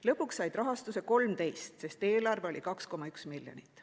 Lõpuks said rahastuse 13, sest eelarve oli 2,1 miljonit.